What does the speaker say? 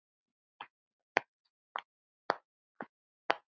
Elsku Maggi afi.